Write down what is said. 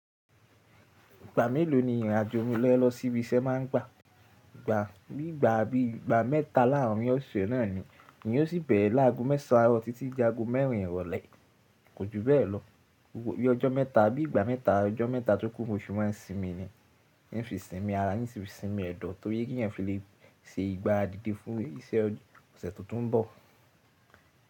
Ìgbà mélòó ni ìrìnàjò omi lẹ́ ẹ̀ lọ síbi iṣẹ́ máa ń gbà? Ìgbà, bí ìgbà bí i ìgbà mẹ́ta láààrín ọ̀sẹ̀ náà ni, èyí ó sì bẹ̀rẹ̀ láago mẹ́sàn án títí dé aago mẹ́rin ìrọ̀lẹ́, kò ju bẹ́ẹ̀ lọ. Bí ọjọ́ mẹ́ta bí ìgbà mẹ́ta, ọjọ́ mẹ́ta tó kún oṣù máa ń sinmi ni. Ní fi sinmi ara, nsí fi sinmi ẹ̀dọ̀ torí pé kí ẹ̀yan fi lè se ìgbáradide fún iṣẹ́ ọ̀sẹ̀ tó tu ń bọ̀.